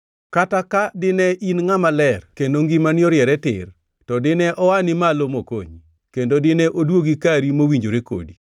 kata ka dine in ngʼama ler kendo ngimani oriere tir, to dine oani malo mokonyi, kendo dine oduogi kari mowinjore kodi.